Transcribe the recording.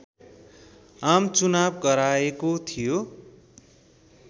आमचुनाव गराएको थियो